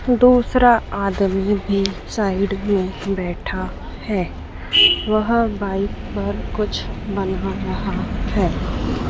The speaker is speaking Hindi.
दूसरा आदमी भी साइड में बैठा है वह बाइक पर कुछ बना रहा है।